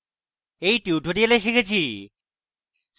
এই tutorial শিখেছি